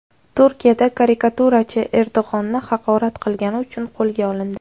Turkiyada karikaturachi Erdo‘g‘onni haqorat qilgani uchun qo‘lga olindi.